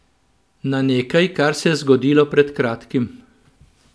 Na nekaj, kar se je zgodilo pred kratkim.